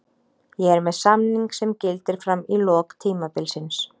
Ég er með samning sem gildir fram í lok tímabilsins.